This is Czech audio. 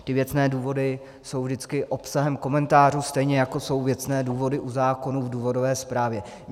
Ty věcné důvody jsou vždycky obsahem komentářů, stejně jako jsou věcné důvody u zákonů v důvodové zprávě.